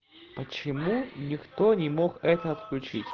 почему никто не мог это отключить